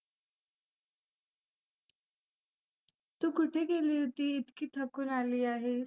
तु कुठे गेली होती इतकी थकुन आली आहेस.